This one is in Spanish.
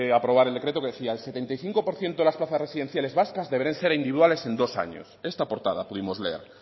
aprobar el decreto que decía el setenta y cinco por ciento de las plazas residenciales vascas deberán ser individuales en dos años esta portada pudimos leer